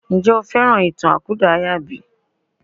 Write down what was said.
Ǹjẹ́ o fẹ́ràn ìtàn àkúdàáyà bí?